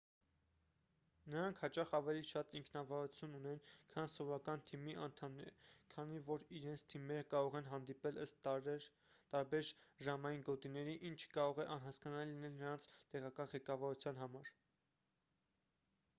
նրանք հաճախ ավելի շատ ինքնավարություն ունեն քան սովորական թիմի անդամները քանի որ իրենց թիմերը կարող են հանդիպել ըստ տարբեր ժամային գոտիների ինչը կարող է անհասկանալի լինել նրանց տեղական ղեկավարության համար